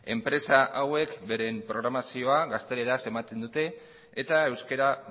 enpresa hauek beren programazioa gazteleraz ematen dute eta euskara